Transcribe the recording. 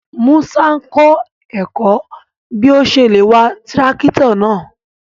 Múṣà n kọ èkọ́ bí ọ̀ ṣè lé wà tirakítò náà.